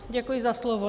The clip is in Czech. Děkuji za slovo.